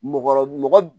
Mɔgɔ mɔgɔ